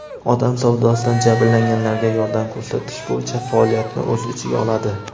odam savdosidan jabrlanganlarga yordam ko‘rsatish bo‘yicha faoliyatni o‘z ichiga oladi.